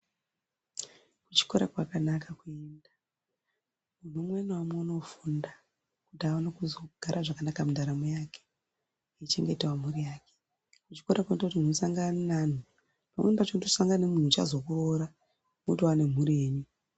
Kuchikora kwakanaka kuenda mumwe namumwe unofunda kuti aone kuzogara zvakanaka mundaramo yake eichengetavo mhuri yake. Kuchikora kunoita kuti muntu asangane neantu kunoita kuti asangane neantu achazokuroora motova nemhuri yenyu.